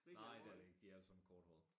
Nej det er det ikke de er alle sammen korthårede